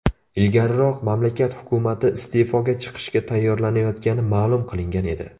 Ilgariroq mamlakat hukumati iste’foga chiqishga tayyorlanayotgani ma’lum qilingan edi .